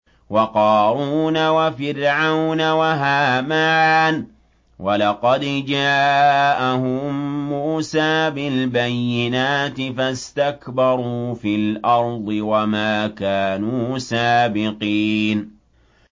وَقَارُونَ وَفِرْعَوْنَ وَهَامَانَ ۖ وَلَقَدْ جَاءَهُم مُّوسَىٰ بِالْبَيِّنَاتِ فَاسْتَكْبَرُوا فِي الْأَرْضِ وَمَا كَانُوا سَابِقِينَ